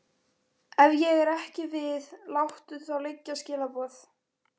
Ef ég er ekki við láttu þá liggja skilaboð!